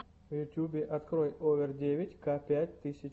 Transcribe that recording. в ютьюбе открой овер девять ка пять тысяч